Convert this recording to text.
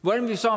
hvordan vi så